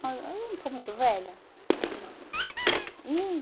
Mas ãh eu não estou muito velha? Não. Ih